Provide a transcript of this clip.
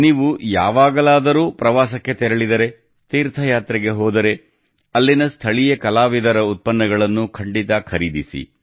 ನೀವು ಯಾವಾಗಲಾದರೂ ಪ್ರವಾಸಕ್ಕೆ ತೆರಳಿದರೆ ತೀರ್ಥಯಾತ್ರೆಗೆ ಹೋದರೆ ಅಲ್ಲಿನ ಸ್ಥಳೀಯ ಕಲಾವಿದರ ಉತ್ಪನ್ನಗಳನ್ನು ಖಂಡಿತ ಖರೀದಿಸಿ